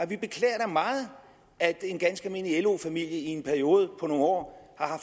vi beklager meget at en ganske almindelig lo familie i en periode på nogle år har